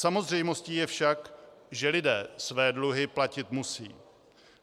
Samozřejmostí je však, že lidé své dluhy platit musí.